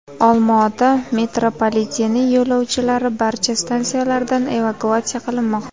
Olmaota metropoliteni yo‘lovchilari barcha stansiyalardan evakuatsiya qilinmoqda.